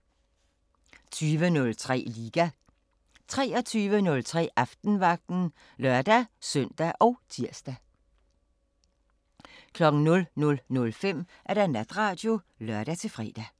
20:03: Liga 23:03: Aftenvagten (lør-søn og tir) 00:05: Natradio (lør-fre)